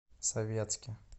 советске